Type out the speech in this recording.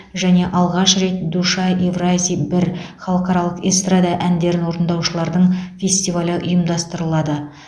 және алғаш рет душа евразии бір халықаралық эстрада әндерін орындаушылардың фестивалі ұйымдастырылады